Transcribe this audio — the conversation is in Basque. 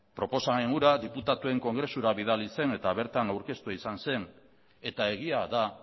proposamen hura diputatuen kongresura bidali zen eta bertan aurkeztua izan zen eta egia da